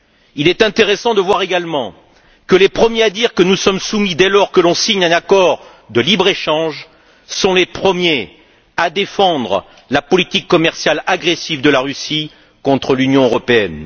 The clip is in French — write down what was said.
Il est intéressant de voir également que les premiers à dire que nous sommes soumis, dès lors que l'on signe un accord de libre échange, sont les premiers à défendre la politique commerciale agressive de la Russie contre l'Union européenne.